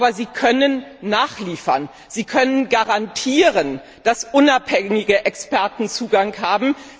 Aber Sie können nachliefern, Sie können garantieren, dass unabhängige Experten Zugang haben.